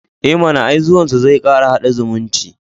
E mana, ai zuwansu zai kara haɗa zumunci.